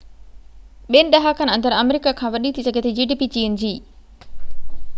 چين جي gdp ٻن ڏهاڪن اندر آمريڪا کان وڏي ٿي سگهي ٿي